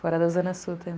Fora da Zona Sul tam